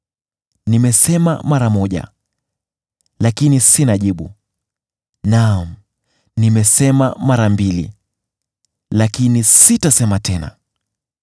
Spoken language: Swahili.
Nimesema mara moja, lakini sina jibu; naam, nimesema mara mbili, lakini sitasema tena.”